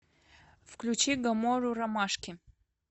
включи гамору ромашки